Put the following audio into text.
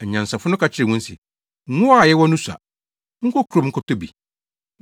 “Anyansafo no ka kyerɛɛ wɔn se, ‘Ngo a yɛwɔ no sua. Monkɔ kurom nkɔtɔ bi.’